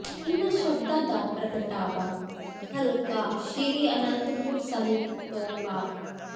ਇਨ੍ਹਾਂ ਸ਼ਬਦਾਂ ਦਾ ਪ੍ਰਗਟਾਵਾ ਹਲਕਾ ਸ੍ਰੀ ਅਨੰਦਪੁਰ ਸਾਹਿਬ ਤੋਂ ਕਾ